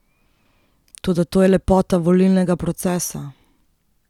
Toda to je lepota volilnega procesa.